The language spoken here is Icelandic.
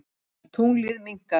Tunglið minnkar.